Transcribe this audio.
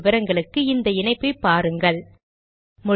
மேற்கொண்டு விவரங்களுக்கு இந்த இணைப்பை பாருங்கள் httpspoken tutorialorgNMEICT Intro